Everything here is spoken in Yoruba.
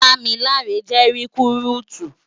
Damilare jè rikúrútú